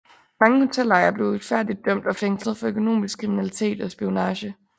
Mange hotelejere blev uretfærdigt dømt og fængslet for økonomisk kriminalitet og spionage